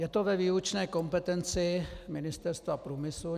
Je to ve výlučné kompetenci Ministerstva průmyslu.